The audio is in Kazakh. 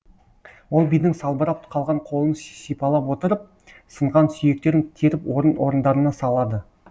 ол бидің салбырап қалған қолын сипалап отырып сынған сүйектерін теріп орын орындарына салады